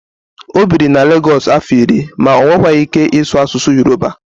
o biri na Lagosu afo iri ma o nwekwaghi ike isu asusu Yoruba